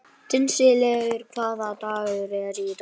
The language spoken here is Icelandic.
Dísella, hvaða dagur er í dag?